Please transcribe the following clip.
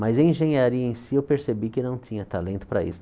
Mas em engenharia em si, eu percebi que não tinha talento para isso.